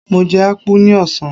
Mo jẹ apulu ní ọ̀sán.